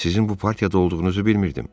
Sizin bu partiyada olduğunuzu bilmirdim.